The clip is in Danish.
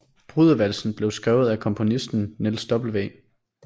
Brudevalsen blev skrevet af komponisten Niels W